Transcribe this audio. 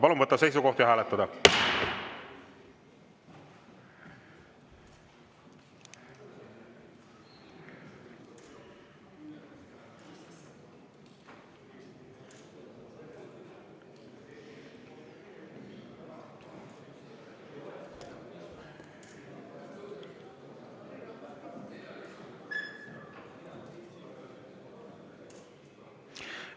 Palun võtta seisukoht ja hääletada!